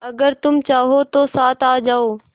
अगर तुम चाहो तो साथ आ जाओ